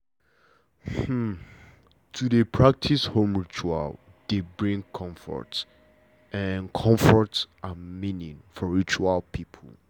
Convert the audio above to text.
to dey practice home ritual dey bring comfort and meaning for village people